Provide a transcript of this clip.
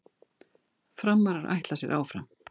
Framarar ætla sér áfram